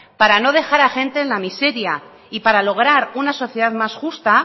para no dejar a gente en la miseria y para lograr una sociedad más justa